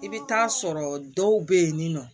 I bɛ taa sɔrɔ dɔw bɛ yen nɔ